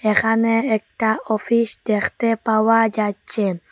এখানে একটা অফিস দেখতে পাওয়া যাচ্ছে।